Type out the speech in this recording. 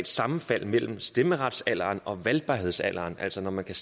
sammenfald mellem stemmeretsalderen og valgbarhedsalderen altså at når man kan